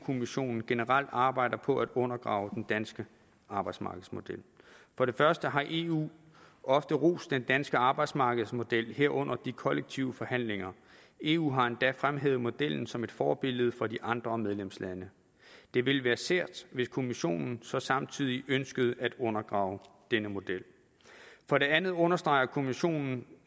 kommissionen generelt arbejder på at undergrave den danske arbejdsmarkedsmodel for det første har eu ofte rost den danske arbejdsmarkedsmodel herunder de kollektive forhandlinger eu har endda fremhævet modellen som et forbillede for de andre medlemslande det ville være sært hvis kommissionen så samtidig ønskede at undergrave denne model for det andet understreger kommissionen